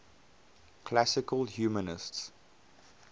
classical humanists